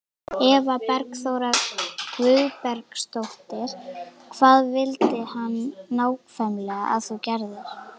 Eva Bergþóra Guðbergsdóttir: Hvað vildi hann nákvæmlega að þú gerðir?